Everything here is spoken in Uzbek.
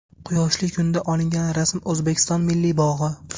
Quyoshli kunda olingan rasm O‘zbekiston Milliy bog‘i.